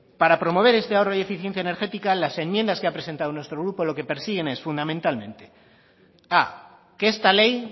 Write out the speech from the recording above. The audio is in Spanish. para promover este ahorro y eficiencia energética las enmiendas que ha presentado nuestro grupo lo que persiguen es fundamentalmente a que esta ley